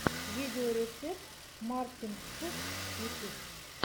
видеорецепт мартин ф ютюб